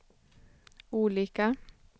olika